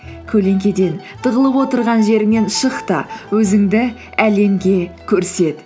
көлеңкеден тығылып отырған жеріңнен шық та өзіңді әлемге көрсет